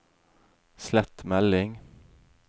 slett melding